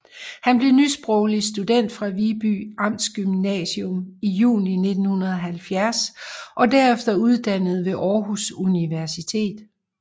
Han blev nysproglig student fra Viby Amtsgymnasium i juni 1970 og derefter uddannet ved Aarhus Universitet